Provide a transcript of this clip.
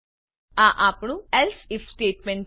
આ આપણું else IF statement છે